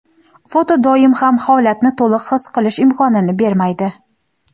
Foto doim ham holatni to‘liq his qilish imkonini bermaydi.